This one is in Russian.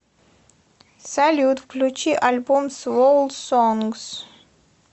салют включи альбом свол сонгс